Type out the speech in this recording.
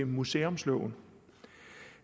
museumsloven